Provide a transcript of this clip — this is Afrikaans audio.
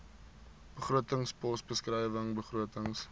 begrotingspos beskrywing begrotings